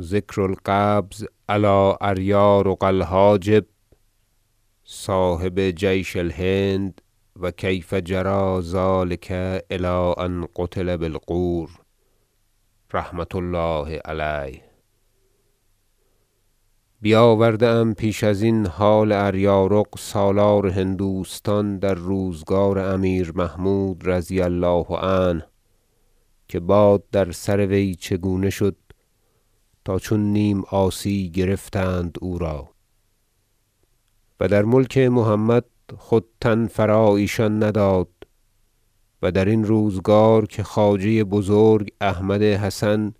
ذکر القبض علی اریارق الحاجب صاحب جیش الهند و کیف جری ذلک الی ان قتل بالغور رحمة الله علیه بیاورده ام پیش ازین حال اریارق سالار هندوستان در روزگار امیر محمود رضی الله عنه که باد در سر وی چگونه شد تا چون نیم عاصی گرفتند او را و در ملک محمد خود تن فرا ایشان نداد و درین روزگار که خواجه بزرگ احمد حسن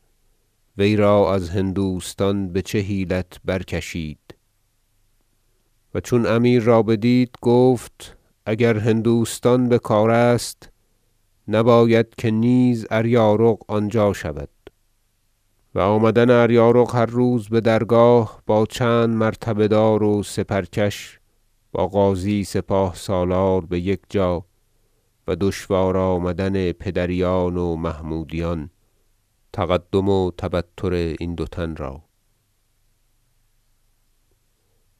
وی را از هندوستان بچه حیلت برکشید و چون امیر را بدید گفت اگر هندوستان بکار است نباید که نیز اریارق آنجا شود و آمدن اریارق هر روز بدرگاه با چند مرتبه دار و سپرکش با غازی سپاه سالار بیکجا و دشوار آمدن بر پدریان و محمودیان تقدم و تبطر این دو تن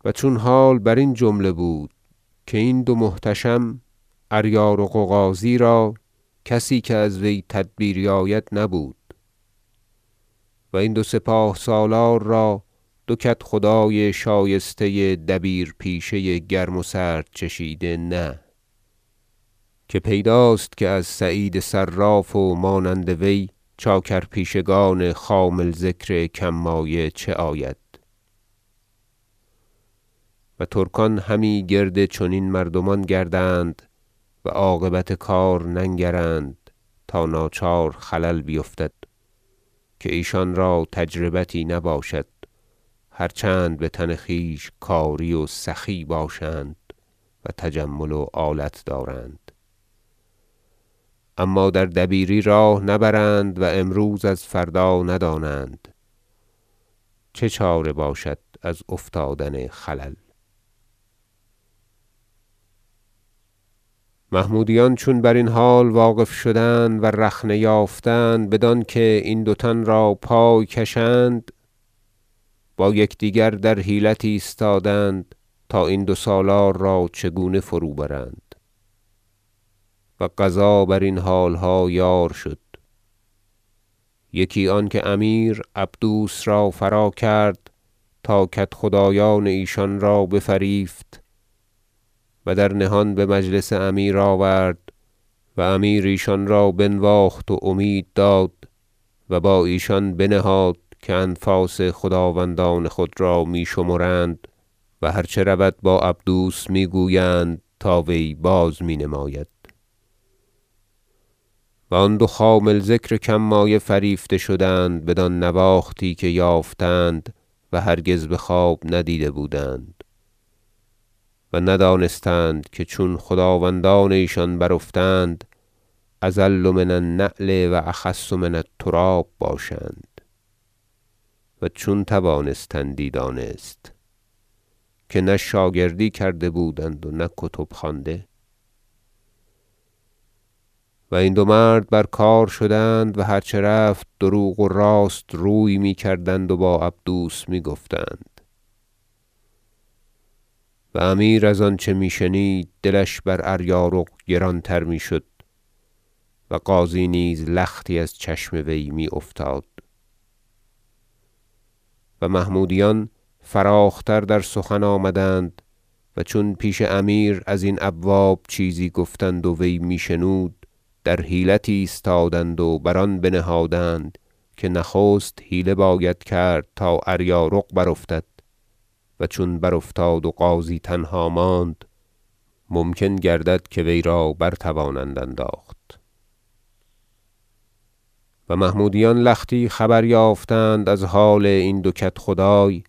و چون حال برین جمله بود که این دو محتشم اریارق و غازی را کسی که ازو تدبیری آید نبود و این دو سپاه سالار را دو کدخدای شایسته دبیر پیشه گرم و سرد چشیده نه - که پیداست که از سعید صراف و مانند وی چاکر- پیشگان خامل ذکر کم مایه چه آید و ترکان همی گرد چنین مردمان گردند و عاقبت ننگرند تا ناچار خلل بیفتد که ایشان را تجربتی نباشد هرچند بتن خویش کاری و سخی باشند و تجمل و آلت دارند اما در دبیری راه نبرند و امروز از فردا ندانند- چه چاره باشد از افتادن خلل محمودیان چون برین حال واقف شدند و رخنه یافتند بدانکه این دو تن را پای کشند با یکدیگر در حیلت ایستادند تا این دو سالار را چگونه فروبرند و قضا برین حالها یار شد یکی آنکه امیر عبدوس را فراکرد تا کدخدایان ایشان را بفریفت و در نهان بمجلس امیر آورد و امیر ایشان را بنواخت و امید داد و با ایشان بنهاد که انفاس خداوندان خود را می شمرند و هرچه رود با عبدوس می گویند تا وی بازمی نماید و آن دو خامل ذکر کم مایه فریفته شدند بدان نواختی که یافتند و هرگز بخواب ندیده بودند و ندانستند که چون خداوندان ایشان برافتادند اذل من النعل و اخس من التراب باشند و چون توانستندی دانست که نه شاگردی کرده بودند و نه کتب خوانده و این دو مرد برکار شدند و هرچه رفت دروغ و راست روی می کردند و با عبدوس می گفتند و امیر از آنچه می شنید دلش بر اریارق گران تر میشد و غازی نیز لختی از چشم وی می افتاد و محمودیان فراخ تر در سخن آمدند و چون پیش امیر ازین ابواب چیزی گفتند و وی می شنود در حیلت ایستادند و بر آن بنهادند که نخست حیله باید کرد تا اریارق برافتد و چون برافتاد و غازی تنها ماند ممکن گردد که وی را برتوانند انداخت و محمودیان لختی خبر یافتند از حال این دو کدخدای-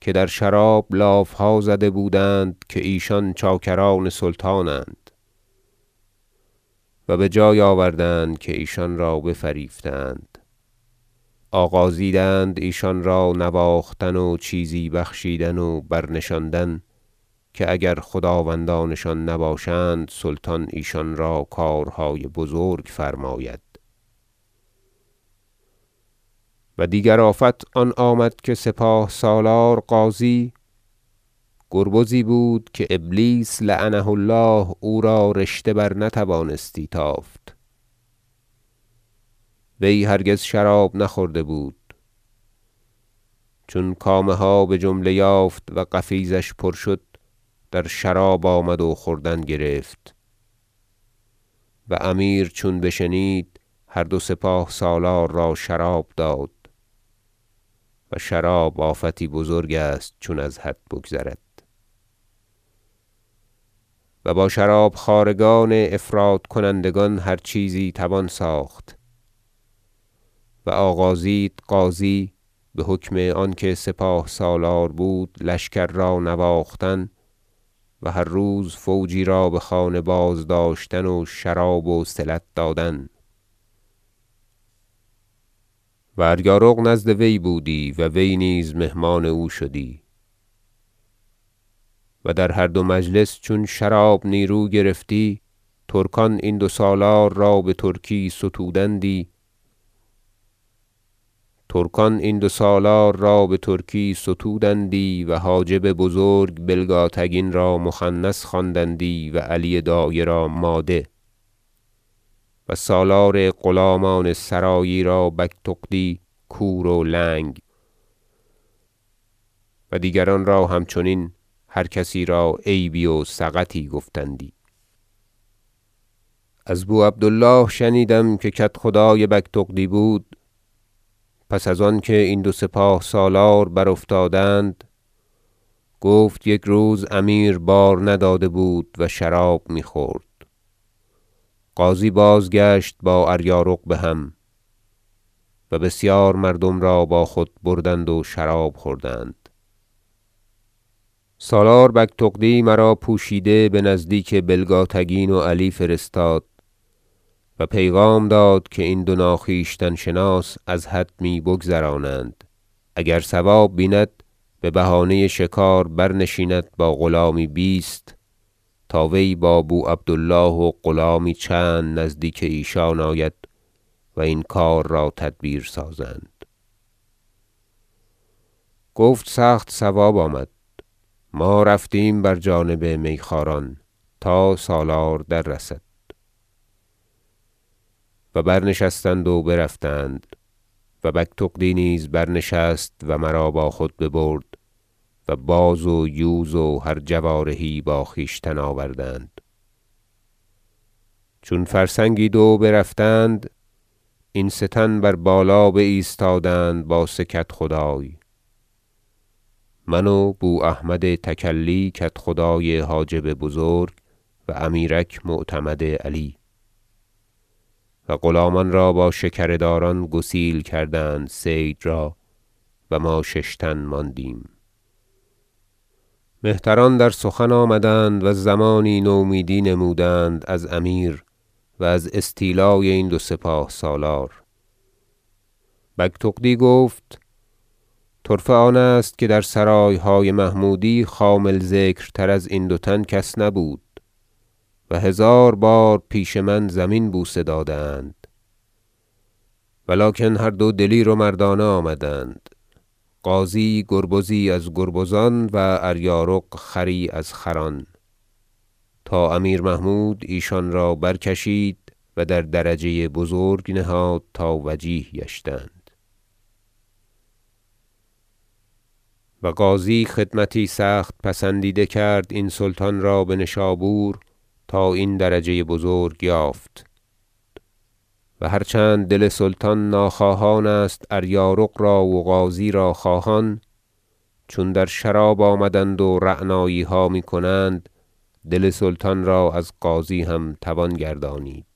که در شراب لافها زده بودند که ایشان چاکران سلطانند - و بجای آوردند که ایشان را بفریفته اند آغازیدند ایشان را نواختن و چیزی بخشیدن و برنشاندن که اگر خداوندانشان نباشند سلطان ایشان را کارهای بزرک فرماید و دیگر آفت آن آمد که سپاه سالار غازی گربزی بود که ابلیس لعنه الله او را رشته برنتوانستی تافت وی هرگز شراب نخورده بود چون کامها بجمله یافت و قفیزش پر شد در شراب آمد و خوردن گرفت و امیر چون بشنید هر دو سپاه سالار را شراب داد و شراب آفتی بزرگ است چون از حد بگذرد و با شراب خوارگان افراطکنندگان هر چیزی توان ساخت و آغازید غازی بحکم آنکه سپاه سالار بود لشکر را نواختن و هر روز فوجی را بخانه بازداشتن و شراب وصلت دادن و اریارق نزد وی بودی و وی نیز مهمان او شدی و در هر دو مجلس چون شراب نیرو گرفتی ترکان این دو سالار را بترکی ستودندی و حاجب بزرگ بلگاتگین را مخنث خواندندی و علی دایه را ماده و سالار غلامان سرایی را- بگتغدی- کور و لنگ و دیگران را همچنین هر کسی را عیبی و سقطی گفتندی از بو عبد الله شنیدم که کدخدای بگتغدی بود پس از آنکه این دو سپاه سالار برافتادند گفت یک روز امیر بار نداده بود و شراب می خورد غازی بازگشت با اریارق بهم و بسیار مردم را با خود بردند و شراب خوردند سالار بگتغدی مرا پوشیده بنزدیک بلگاتگین و علی فرستاد و پیغام داد که این دو ناخویشتن شناس از حد می بگذرانند اگر صواب بیند ببهانه شکار برنشیند با غلامی بیست تا وی با بو عبد الله و غلامی چند نزدیک ایشان آید و این کار را تدبیر سازند گفت سخت صواب آمد ما رفتیم بر جانب میخواران تا سالار دررسد و برنشستند و برفتند و بگتغدی نیز برنشست و مرا با خود برد و باز ویوز و هر جوارحی با خویشتن آوردند چون فرسنگی دو برفتند این سه تن بر بالا بایستادند با سه کدخدای من و بو احمد تکلی کدخدای حاجب بزرک و امیرک معتمد علی و غلامان را با شکره داران گسیل کردند صید را و ما شش تن ماندیم مهتران در سخن آمدند و زمانی نومیدی نمودند از امیر و از استیلای این دو سپه سالار بگتغدی گفت طرفه آن است که در سرایهای محمودی خامل ذکرتر ازین دو تن کس نبود و هزار بار پیش من زمین بوسه داده اند و لکن هر دو دلیر و و مردانه آمدند غازی گربزی از گربزان و اریارق خری از خران تا امیر محمود ایشان را برکشید و در درجه بزرک نهاد تا وجیه گشتند و غازی خدمتی سخت پسندیده کرد این سلطان را بنشابور تا این درجه بزرک یافت و هرچند دل سلطان ناخواهان است اریارق را و غازی را خواهان چون در شراب آمدند و رعناییها می کنند دل سلطان را از غازی هم توان گردانید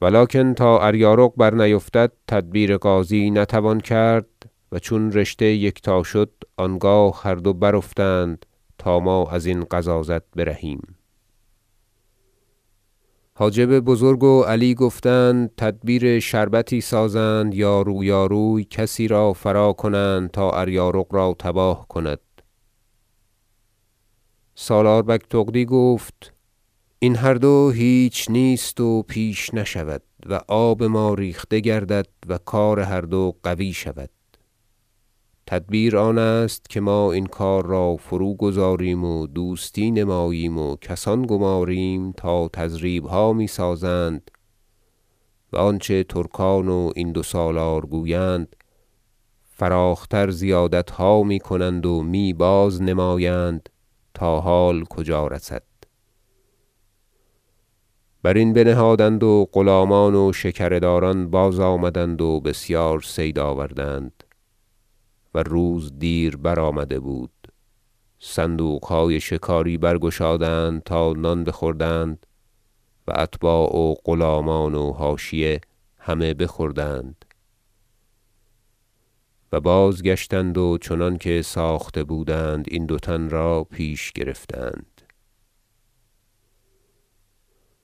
و لکن تا اریارق برنیفتد تدبیر غازی نتوان کرد و چون رشته یکتا شد آنگاه هر دو برافتند تا ما ازین غضاضت برهیم حاجب بزرک و علی گفتند تدبیر شربتی سازند یار و یاروی کسی را فراکنند تا اریارق را تباه کند سالار بگتغدی گفت این هر دو هیچ نیست و پیش نشود و آب ما ریخته گردد و کار هر دو قوی شود تدبیر آن است که ما این کار را فروگذاریم و دوستی نماییم و کسان گماریم تا تضریبها می سازند و آنچه ترکان و این دو سالار گویند فراخ تر زیادتها می کنند و می باز نمایند تا حال کجا رسد برین بنهادند و غلامان و شکره داران بازآمدند و بسیار صید آوردند و روز دیر برآمده بود صندوقهای شکاری برگشادند تا نان بخوردند و اتباع و غلامان و حاشیه همه بخوردند و بازگشتند و چنانکه ساخته بودند این دو تن را پیش گرفتند